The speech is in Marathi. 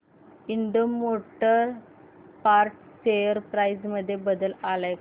Ind motor parts share price मध्ये बदल आलाय का